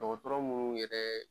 Dɔgɔtɔrɔ mun yɛrɛ